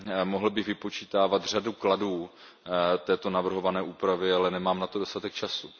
Mohl bych vypočítávat řadu kladů této navrhované úpravy, ale nemám na to dostatek času.